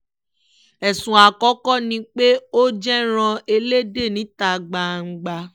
ẹ̀sùn àkọ́kọ́ ni pé ó jẹ̀ràn ẹlẹ́dẹ̀ níta gbangba